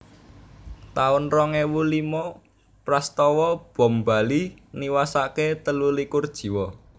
taun rong ewu limo Prastawa Bom Bali niwasaken telu likur jiwa